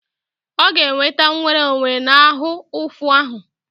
Ọ ga-enweta nwere onwe na ahụ ụfụ ahụ.